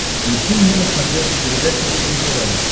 включи мне на смотрешке передачу фэшен тв